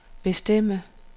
bestemme